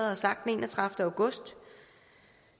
har sagt den enogtredivete august